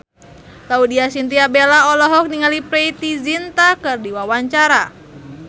Laudya Chintya Bella olohok ningali Preity Zinta keur diwawancara